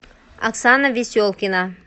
оксана веселкина